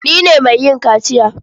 Ni ne mai yin kaciya.